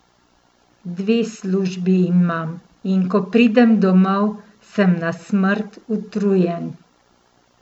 Dve službi imam, in ko pridem domov, sem na smrt utrujen.